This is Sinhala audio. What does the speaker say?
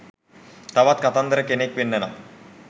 තවත් කතන්දර කෙනෙක් වෙන්න නම්